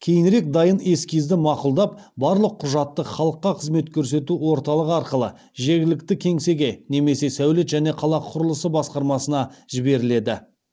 кейінірек дайын эскизді мақұлдап барлық құжатты халыққа қызмет көрсету орталығы арқылы жергілікті кеңсеге немесе сәулет және қала құрылысы басқармасына жіберіледі